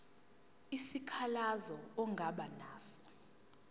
isikhalazo ongaba naso